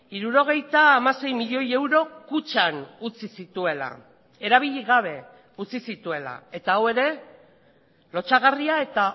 hirurogeita hamasei milioi euro kutxan utzi zituela erabili gabe utzi zituela eta hau ere lotsagarria eta